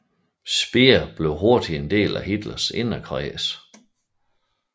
Speer blev hurtigt en del af Hitlers inderkreds